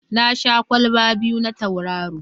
Na sha kwalba biyu na Tauraro.